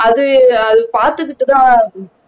அது அது பார்த்துக்கிட்டுதான்